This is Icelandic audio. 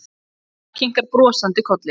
Mamma hennar kinkar kolli brosandi.